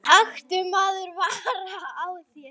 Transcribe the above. taktu maður vara á þér